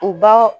U ba